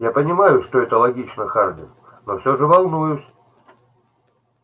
я понимаю что это логично хардин но всё же волнуюсь